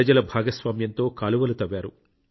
ప్రజల భాగస్వామ్యంతో కాలువలు తవ్వారు